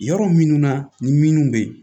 Yɔrɔ minnu na ni minnu bɛ yen